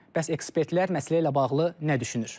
Bəs ekspertlər məsələ ilə bağlı nə düşünür?